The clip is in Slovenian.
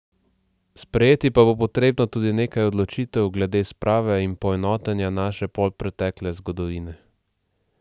Sprejeti pa bo potrebno tudi nekaj odločitev glede sprave in poenotenja naše polpretekle zgodovine.